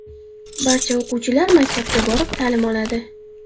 Barcha o‘quvchilar maktabga borib, ta’lim oladi.